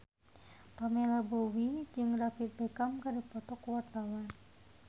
Pamela Bowie jeung David Beckham keur dipoto ku wartawan